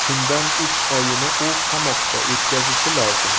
Shundan uch oyini u qamoqda o‘tkazishi lozim.